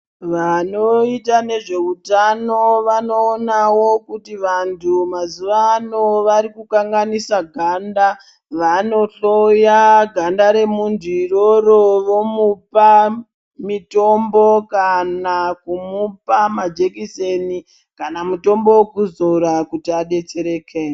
Vanoita nezvehutano vanoonawo kuti vantu mazuva ano vari kukanganisa ganda vanoHloya ganda remuntu iroro vomupa Mititombo kana kumupa majekiseni kana mutombo wekuzora kuti adetsereke.